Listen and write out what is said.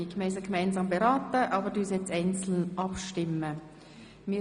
Diese drei Postulate haben wir gemeinsam beraten, und nun stimmen wir separat über jedes einzelne ab.